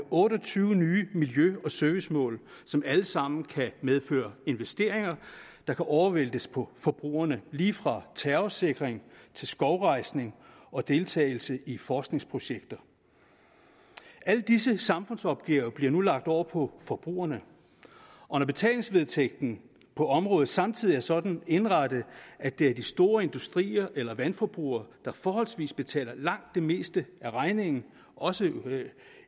og tyve nye miljø og servicemål som alle sammen kan medføre investeringer der kan overvæltes på forbrugerne det lige fra terrorsikring til skovrejsning og deltagelse i forskningsprojekter alle disse samfundsopgaver bliver nu lagt over på forbrugerne og når betalingsvedtægten på området samtidig er sådan indrettet at det er de store industrier eller vandforbrugere der forholdsvis betaler langt det meste af regningen også